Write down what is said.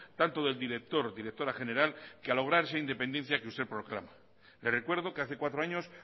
tanto del director o directora general que a lograr esa independencia que usted proclama le recuerdo que hace cuatro años